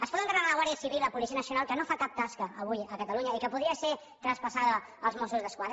es poden carregar la guàrdia civil i la policia nacional que no fa cap tasca avui a catalunya i que podria ser traspassada als mossos d’esquadra